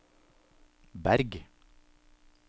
Berg